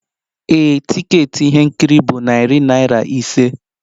Ee, tiketi ihe nkiri bụ narị naira ise